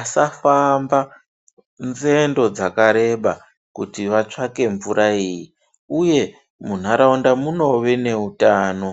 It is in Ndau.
asafamba nzendo dzakareba kuti watsvake mvura ineyi uye munharaunda munowe neutano